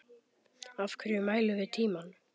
Af hverju mælum við tímann?